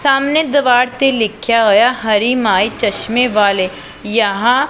ਸਾਹਮਣੇ ਦਵਾਰ ਤੇ ਲਿਖਿਆ ਹੋਇਆ ਹਰੀ ਮਾਈ ਚਸ਼ਮੇ ਵਾਲੇ ਯਹਾਂ--